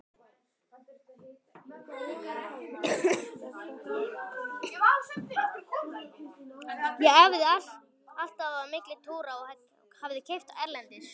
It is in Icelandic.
Ég æfði alltaf á milli túra og hafði keppt erlendis.